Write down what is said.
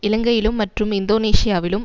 இலங்கையிலும் மற்றும் இந்தோனேசியாவிலும்